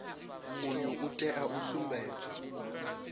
uyu u tea u sumbedza